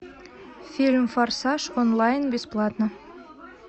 фильм форсаж онлайн бесплатно